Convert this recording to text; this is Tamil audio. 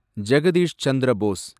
ஜெகதீஷ் சந்திர போஸ்